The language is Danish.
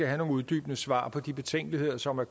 have nogle uddybende svar på de betænkeligheder som er